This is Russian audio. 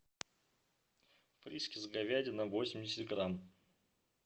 фрискис говядина восемьдесят грамм